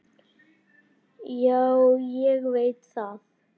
Já, ég veit það